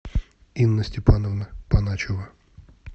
инна степановна паначева